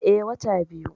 Eh, wata biyu